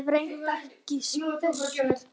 Hef reyndar ekki spurt.